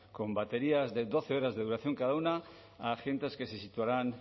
con baterías de doce horas de duración cada una a agentes que se situarán